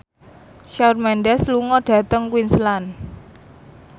Shawn Mendes lunga dhateng Queensland